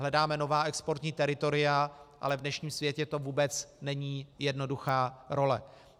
Hledáme nová exportní teritoria, ale v dnešním světě to vůbec není jednoduchá role.